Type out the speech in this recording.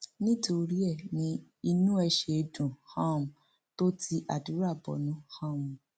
nítorí ẹ ní inú ẹ ṣe dùn um tó ti àdúrà bọnu um